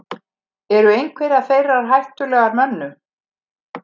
eru einhverjar þeirra hættulegar mönnum